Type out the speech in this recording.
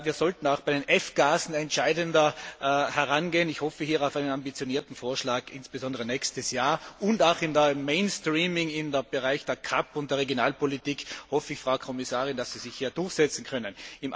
Wir sollten auch bei den F Gasen entscheidender herangehen ich hoffe hier auf einen ambitionierten Vorschlag insbesondere im nächsten Jahr und auch beim mainstreaming im Bereich der GAP und der Regionalpolitik hoffe ich, Frau Kommissarin, dass Sie sich hier durchsetzen können.